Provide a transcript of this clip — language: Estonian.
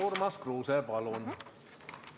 Urmas Kruuse, palun!